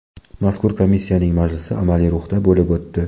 Mazkur komissiyaning majlisi amaliy ruhda bo‘lib o‘tdi.